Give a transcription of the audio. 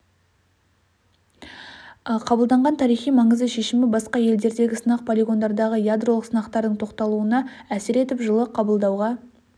қабылданған тарихи маңызды шешімі басқа елдердегі сынақ полигондардағы ядролық сынақтардың тоқталуына әсер етіп жылы қабылдауға